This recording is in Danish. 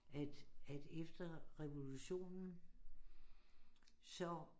At at efter revolutionen så